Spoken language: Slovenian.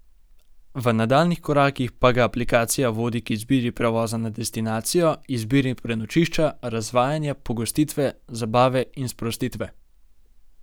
V nadaljnjih korakih pa ga aplikacija vodi k izbiri prevoza na destinacijo, izbiri prenočišča, razvajanja, pogostitve, zabave in sprostitve.